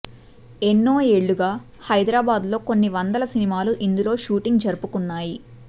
ఎన్నో ఏళ్లుగా హైదరాబాద్ లో కొన్ని వందల సినిమాలు ఇందులో షూటింగ్ జరుపుకున్నాయి